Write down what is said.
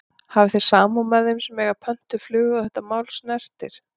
Hafi þið samúð með þeim sem að eiga pöntuð flug og þetta mál snertir?